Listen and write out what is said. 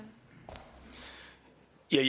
er